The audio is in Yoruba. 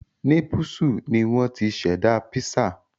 Népúsù ni wọ́n ti ṣẹ̀dá písà